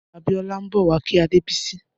Abiola n bọ wà kí Adebisi